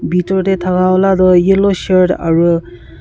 bethor te thaka laga tu yellow shirt aru--